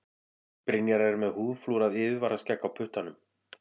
Brynjar er með húðflúrað yfirvaraskegg á puttanum.